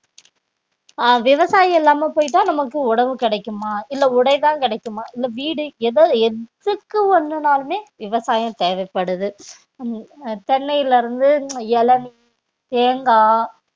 ஆஹ் விவசாயம் இல்லாம போயிட்டா நமக்கு உணவு கிடைக்குமா இல்ல உடைதான் கிடைக்குமா இல்ல வீடு எதோ எதுக்கு ஒண்ணுனாலுமே விவசாயம் தேவைப்படுது உம் அஹ் தென்னையில இருந்து இளநீர், தேங்காய்